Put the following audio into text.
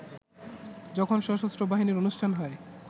যখন সশস্ত্র বাহিনীর অনুষ্ঠান হয়